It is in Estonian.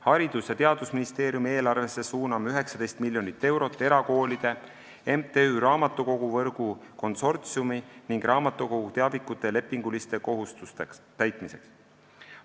Haridus- ja Teadusministeeriumi eelarvesse suuname 19 miljonit eurot erakoolide, MTÜ Raamatukoguvõrgu Konsortsiumi ning raamatukogu teavikute soetamiseks ja lepinguliste kohustuste täitmiseks.